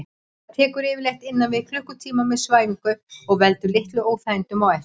Það tekur yfirleitt innan við klukkutíma með svæfingu og veldur litlum óþægindum á eftir.